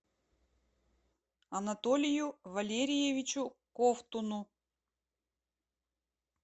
анатолию валериевичу ковтуну